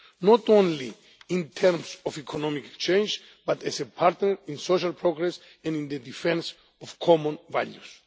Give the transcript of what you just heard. not only in terms of economic change, but as a partner in social progress and in the defence of common values.